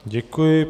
Děkuji.